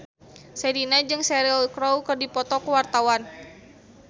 Sherina jeung Cheryl Crow keur dipoto ku wartawan